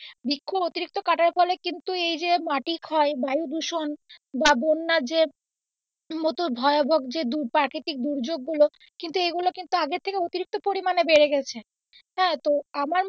বৃক্ষ অতিরিক্ত কাটার ফলে কিন্তু এইযে মাটি ক্ষয় বায়ু দূষণ বা বন্যার যে মতো ভয়াবহ যে প্রাকৃতিক দুর্যোগ গুলো কিন্তু এইগুলো কিন্তু আগের থেকে অতিরিক্ত পরিমান বেড়ে গেছে, হ্যাঁ তো আমার মতে,